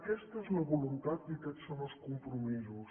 aquesta és la voluntat i aquests són els compromisos